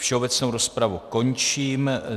Všeobecnou rozpravu končím.